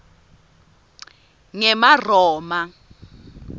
ngemaroma